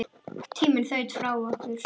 Tíminn þaut frá okkur.